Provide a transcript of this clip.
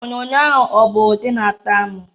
Onyoonyo ahụ ọ bụ ụdi na-atọ amụ?